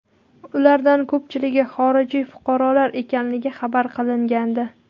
Ulardan ko‘pchiligi xorijiy fuqarolar ekanligi xabar qilingandi.